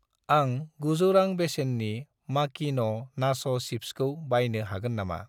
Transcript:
आं 900 रां बेसेननि माकिन' नाच' सिप्सखौ बायनो हागोन नामा?